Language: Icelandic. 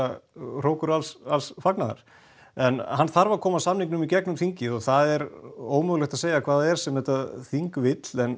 hrókur alls fagnaðar en hann þarf að koma samningnum í gegnum þingið og það er ómögulegt að segja hvað það er sem þetta þing vill en